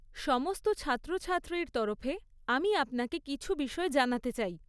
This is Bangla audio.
সমস্ত ছাত্রছাত্রীর তরফে আমি আপনাকে কিছু বিষয় জানাতে চাই।